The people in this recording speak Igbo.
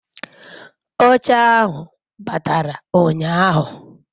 oche ahu batara unyahu